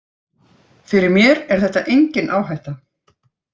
Fyrir mér er þetta engin áhætta.